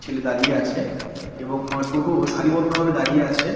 ছেলে দাঁড়িয়ে আছে। এবং টোটো সারি বদ্ধ ভাবে দাঁড়িয়ে আছে।